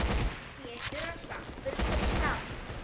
Pétur og Svampur koma fram.